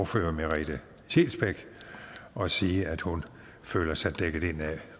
fru merete scheelsbeck og sige at hun føler sig dækket ind af